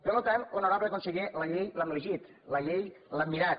per tant honorable conseller la llei l’hem llegit la llei l’hem mirat